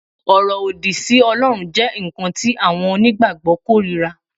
Ọ̀rọ̀ òdì sí Ọlọ́run jẹ́ nǹkan tí àwọn onígbàgbọ́ kórìíra